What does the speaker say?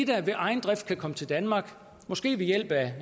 der ved egen drift kan komme til danmark måske ved hjælp af